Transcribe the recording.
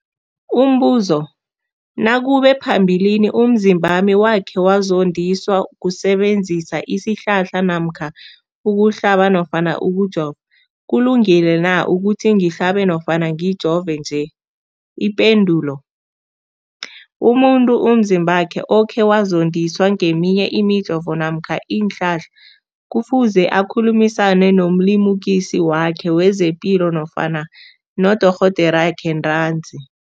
Umbuzo, nakube phambilini umzimbami wakhe wazondiswa kusebenzisa isihlahla namkha ukuhlaba nofana ukujova, kulungile na ukuthi ngihlabe nofana ngijove nje? Ipendulo, umuntu umzimbakhe okhe wazondiswa ngeminye imijovo namkha iinhlahla kufuze akhulumisane nomlimukisi wakhe wezepilo nofana nodorhoderakhe ntanzi.